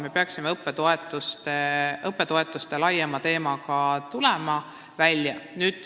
Me peaksime tulema välja laiema õppetoetuste teemaga.